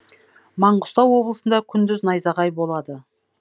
маңғыстау облысында күндіз найзағай болады